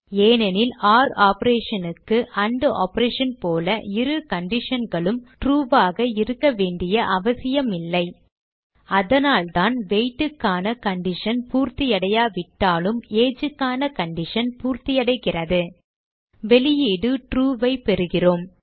ஏனெனில் ஒர் operation க்கு ஆண்ட் ஆப்பரேஷன் போல இரு conditionகளும் true ஆக இருக்க வேண்டிய அவசியம் இல்லை அதனால்தான் weight க்கான கண்டிஷன் பூர்த்தியடையாவிட்டாலும் age க்கான கண்டிஷன் பூர்த்தியடைகிறது வெளியீடு true ஐ பெறுகிறோம்